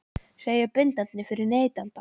séu bindandi fyrir neytanda?